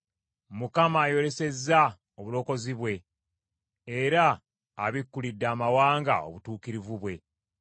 Mukama ayolesezza obulokozi bwe, era abikkulidde amawanga obutuukirivu bwe.